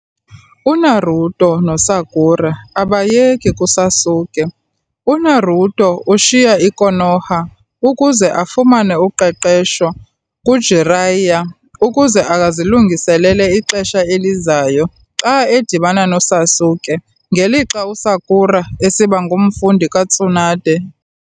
UNaruto noSakura abayeki kuSasuke- UNaruto ushiya i-Konoha ukuze afumane uqeqesho kuJiraiya ukuze azilungiselele ixesha elizayo xa edibana noSasuke, ngelixa uSakura esiba ngumfundi kaTsunade.